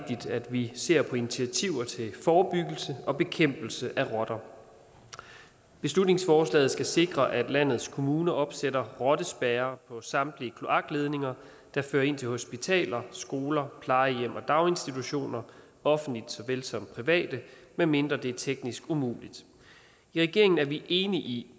at vi ser på initiativer til forebyggelse og bekæmpelse af rotter beslutningsforslaget skal sikre at landets kommuner opsætter rottespærrer på samtlige kloakledninger der fører ind til hospitaler skoler plejehjem og daginstitutioner offentlige såvel som private medmindre det er teknisk umuligt i regeringen er vi enige i